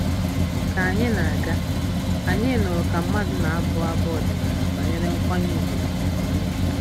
Ka anyị na-aga, anyị nụrụ ka mmadụ na-amụ abụ ọdịnala banyere nkwanye ùgwù na amamihe